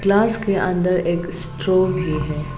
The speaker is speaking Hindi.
ग्लास के अंदर एक स्ट्रॉ भी है।